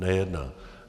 Nejedná.